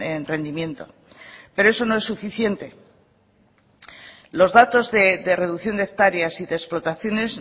en rendimiento pero eso no es suficiente los datos de reducción de hectáreas y de explotaciones